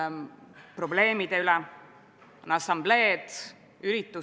Riigikogu juhatuse määratud muudatusettepanekute tähtajaks, 18. oktoobriks muudatusettepanekuid ei esitatud.